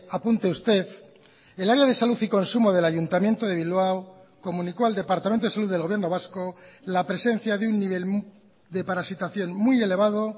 apunte usted el área de salud y consumo del ayuntamiento de bilbao comunicó al departamento de salud del gobierno vasco la presencia de un nivel de parasitación muy elevado